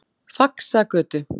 Faxagötu